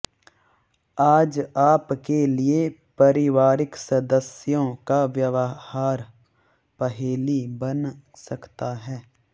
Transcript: आज आप के लिए पारिवारिक सदस्यों का व्यवहार पहेली बन सकता है